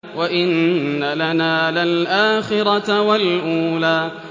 وَإِنَّ لَنَا لَلْآخِرَةَ وَالْأُولَىٰ